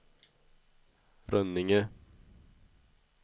Rönninge